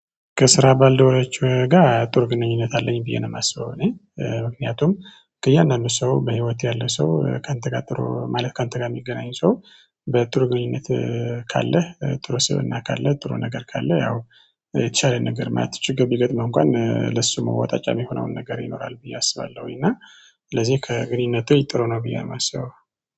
ከስራ ባልደረቦቼ ጋር ጥሩ ግንኙነት አለኝ ብዬ ነው የማስበው እኔ። ምክንያቱም ከእያንዳንዱ ሰው በህይወት ያለ ሰው ከአንተ ጋር ጥሩ ማለት ከአንተ ጋር የሚገናኝ ሰው በጥሩ ግንኙነት። ካለህ ጥሩ ስብእና ካለህ ጥሩ ነገር ካለህ ያው የተሻለ ነገር ማየት ችግር ቢገጥምህ እንኳን ለሱ መወጣጫ የሚሆነውን ነገር ይኖርሃል ብዬ አስባለሁኝ። እና ስለዚህ ከግንኙነትህ ጥሩ ነው ብዬ የማስበው